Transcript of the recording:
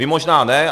Vy možná ne.